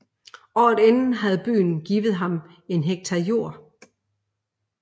Året inden havde byen givet dem en hektar jord